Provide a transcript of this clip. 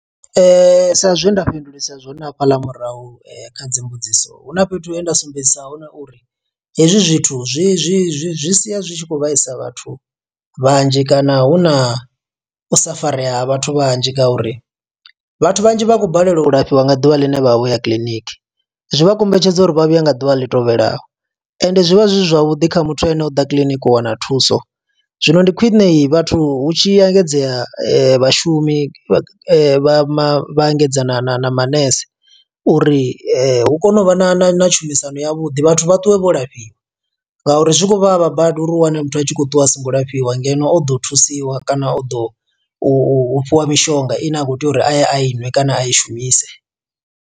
Sa zwe nda fhindulisa zwone hafhaḽa murahu kha dzimbudziso, hu na fhethu he nda sumbedzisa hone uri hezwi zwithu zwi zwi zwi zwi sia zwi tshi khou vhaisa vhathu vhanzhi. Kana hu na u safarea ha vhathu vhanzhi nga uri vhathu vhanzhi vha khou balelwa u lafhiwa nga ḓuvha ḽine vha vha vhoya kiḽiniki. Zwi vha kombetshedza uri vha vhuye nga ḓuvha ḽi tevhelaho, ende zwi vha zwi zwavhuḓi kha muthu ane o ḓa kiḽiniki u wana thuso. Zwino ndi khwine, vhathu hu tshi engedzea vhashumi vha vha vha vha engedza na na na manese, uri hu kone u vha na na na tshumisano ya vhuḓi. Vhathu vhaṱuwe vho lafhiwa nga uri zwi khou vhavha badi uri u wane muthu a tshi khou ṱuwa a songo lafhiwa, ngeno o ḓo thusiwa kana o ḓo u fhiwa mishonga ine a kho tea uri a ye a iṅwe, kana a i shumise.